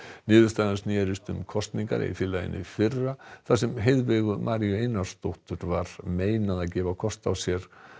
niðurstaðan snerist um kosningar í félaginu í fyrra þar sem Maríu Einarsdóttur var meinað að gefa kost á sér